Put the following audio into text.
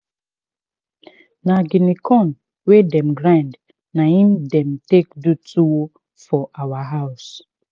na guinea corn we dem grind na in dem take do tuwo for our house.